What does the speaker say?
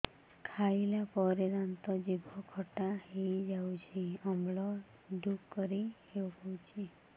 ଖାଇଲା ପରେ ଦାନ୍ତ ଜିଭ ଖଟା ହେଇଯାଉଛି ଅମ୍ଳ ଡ଼ୁକରି ହଉଛି